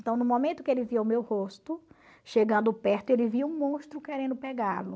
Então, no momento que ele via o meu rosto chegando perto, ele via um monstro querendo pegá-lo.